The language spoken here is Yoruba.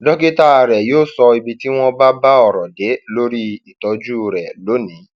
dókítà rẹ yóò sọ ibi tí wọn bá bá ọrọ dé lórí ìtọjú rẹ lónìí